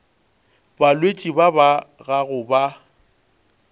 balwetši ba ba gago ba